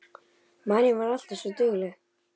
Marín var alltaf svo dugleg.